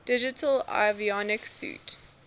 digital avionics suite